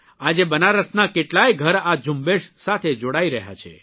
આજે બનારસના કેટલાય ઘર આ ઝુંબેશ સાથે જોડાઇ રહ્યા છે